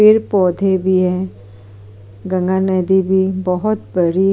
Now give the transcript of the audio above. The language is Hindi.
पेड़-पौधे भी है गंगा नदी भी बहोत बड़ी--